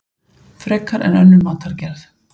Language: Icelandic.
Frekar en önnur matargerð.